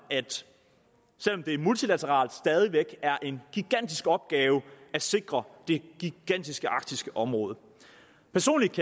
det er multilateralt stadig væk en gigantisk opgave at sikre det gigantiske arktiske område personligt